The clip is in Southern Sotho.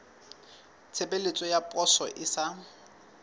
tshebeletso ya poso e sa